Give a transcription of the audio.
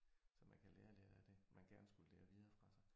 Så man kan lære lidt af det man gerne skulle lære videre fra sig